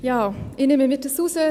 Ja, ich nehme mir dies heraus.